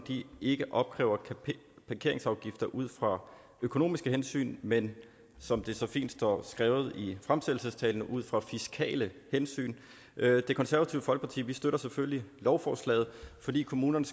ikke opkræver parkeringsafgifter ud fra økonomiske hensyn men som det så fint står skrevet i fremsættelsestalen ud fra fiskale hensyn det konservative folkeparti støtter selvfølgelig lovforslaget fordi kommunerne